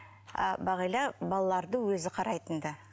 ал бағила балаларды өзі қарайтын ды